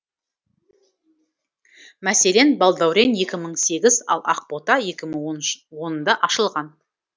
мәселен балдәурен екі мың сегіз ал ақбота екі мың онында ашылған